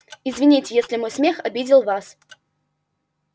извините если мой смех обидел вас